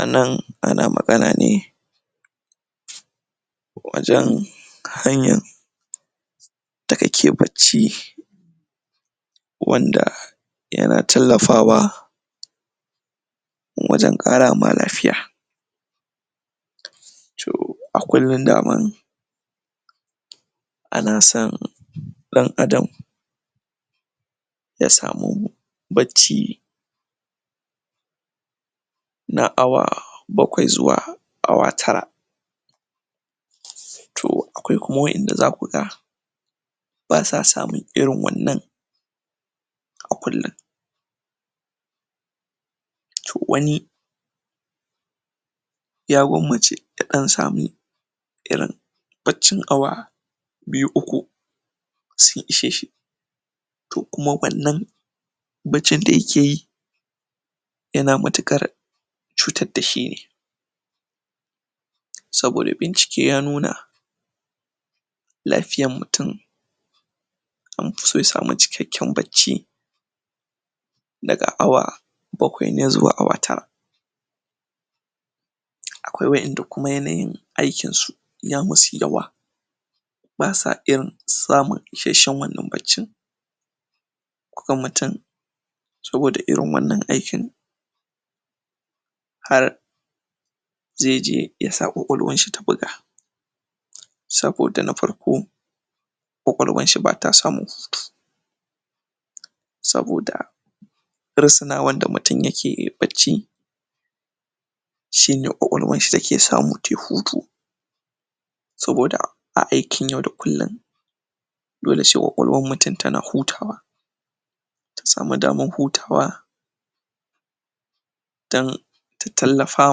A nan, ana magana ne wajen hanyan da kake bacci wanda yana tallafawa wajen ƙara ma lafiya To, a kullum daman ana son ɗan'adam ya samu bacci na awa bakwai zuwa awa tara To, akwai waɗanda kuma za ku ga ba sa samun irin wannan a kullum. To wani ya gwammace ya ɗan sami irin baccin awa biyu/uku su ishe shi To kuma wannan baccin da yake yi yana matuƙar cutar da shi ne saboda bincike ya nuna lafiyan mutum an fi so ya samu cikakken bacci daga awa bakwai ne zuwa awa tar. Akwai wa'inda kuma yanayin aikinsu ya musu yawa bisa irin samun isasshen wannan baccin koko mutum saboda irin wannan aikin har zai je ya sa ƙwaƙwalwan shi ta buga. Saboda na farko ƙwaƙwalwan shi ba ta samu ba ta samun hutu saboda risinawan da mutum yake yi yai bacci shi ne ƙwaƙwalwan shi take samu tai hutu saboda a aikin yau da kullum dole sai ƙwaƙwalwan mutum tana hutawa ta samu daman hutawa don ta tallafa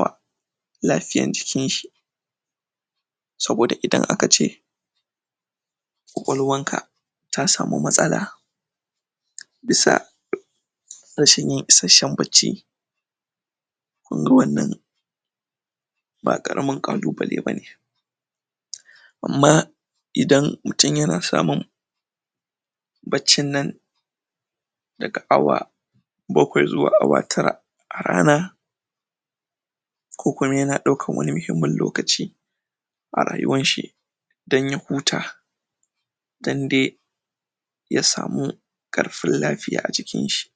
wa lafiyan jikin shi saboda idan aka ce ƙwaƙwalwanka ta samu matsala bisa rashin yin isasshen bacci kun ga wannan ba ƙaramin ƙalubale ba ne Amma idan mutum yana samun baccin nan daga awa bakwai zuwa awa tara a rana ko kuma yana ɗaukan wani muhimmin lokaci a rayuwan shi don ya huta don dai ya samu ƙarfin lafiya a jikin shi.